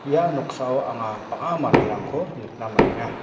ia noksao anga bang·a manderangko nikna man·enga.